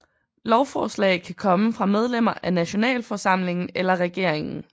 Lovforslag kan komme fra medlemmer af nationalforsamlingen eller regeringen